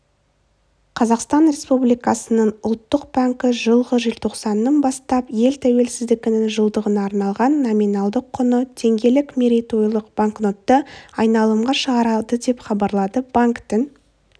қазақстан республикасының ұлттық банкі жылғы желтоқсаннан бастап ел тәуелсіздігінің жылдығына арналған номиналдық құны теңгелік мерейтойлық банкнотты айналымға шығарады деп хабарлады банктің